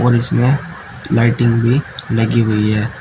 और इसमें लाइटिंग भी लगी हुई है।